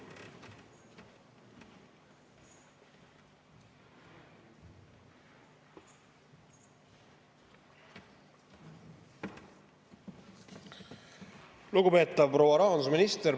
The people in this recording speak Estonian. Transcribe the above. Lugupeetav proua rahandusminister!